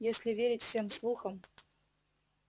если верить всем слухам